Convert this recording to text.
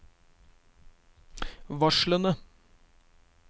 varslene